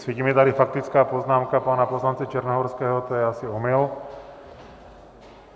Svítí mi tady faktická poznámka pana poslance Černohorského, to je asi omyl.